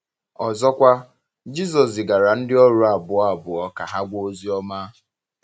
Ọzọkwa, Jisọs zigara ndị ọrụ abụọ abụọ ka ha gwa ozi ọma.